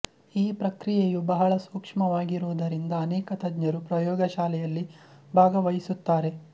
ಈ ಪ್ರಕ್ರಿಯೆಯು ಬಹಳ ಸೂಕ್ಷ್ಮವಾಗಿರುವುದರಿಂದ ಅನೇಕ ತಜ್ಞರು ಪ್ರಯೋಗಶಾಲೆಯಲ್ಲಿ ಭಾಗವಹಿಸುತ್ತಾರೆ